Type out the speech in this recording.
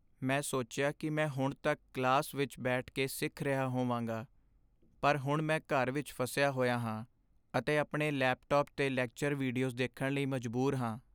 ਮੈਂ ਸੋਚਿਆ ਕਿ ਮੈਂ ਹੁਣ ਤੱਕ ਕਲਾਸ ਵਿੱਚ ਬੈਠ ਕੇ ਸਿੱਖ ਰਿਹਾ ਹੋਵਾਂਗਾ, ਪਰ ਹੁਣ ਮੈਂ ਘਰ ਵਿੱਚ ਫਸਿਆ ਹੋਇਆ ਹਾਂ ਅਤੇ ਆਪਣੇ ਲੈਪਟਾਪ 'ਤੇ ਲੈਕਚਰ ਵੀਡੀਓਜ਼ ਦੇਖਣ ਲਈ ਮਜਬੂਰ ਹਾਂ।